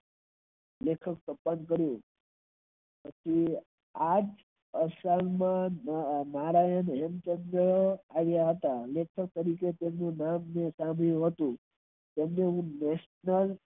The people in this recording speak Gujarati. આજે કામ કરવું આજે અચાનક નારાયણ આવિયા હતા તેમને national